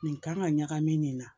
Nin kan ka ɲagami nin na